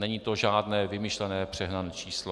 Není to žádné vymyšlené přehnané číslo.